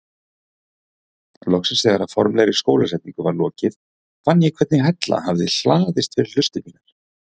Loksins þegar formlegri skólasetningu var lokið fann ég hvernig hella hafði hlaðist fyrir hlustir mínar.